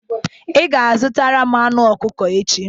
Ị ga-azụtara m anụ ọkụkọ echi.